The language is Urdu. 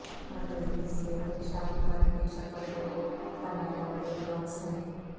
مرکزی حصے میں شارک فن کی شکل میں بنایا بڑے بلاکس ہیں